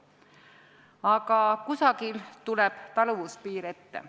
Aga kusagil tuleb taluvuspiir ette.